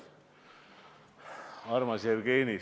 Armas Jevgeni!